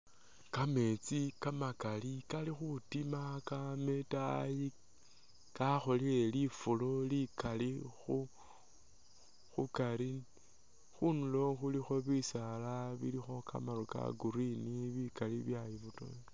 Kameetsi kamakali kali khutiima kaama itaayi, kakholele lufulo likaali khu khukaari. Khundulo khulikho bisaala bilikho kamaru ka green bikaali byayibotokhelela.